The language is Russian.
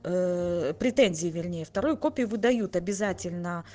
ээ претензии вернее вторую копию выдают обязательно